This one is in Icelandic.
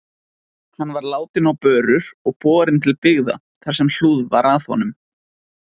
Hann var látinn á börur og borinn til byggða þar sem hlúð var að honum.